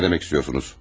Nə demək istəyirsiniz?